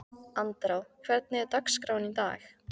Andrá, hvernig er dagskráin í dag?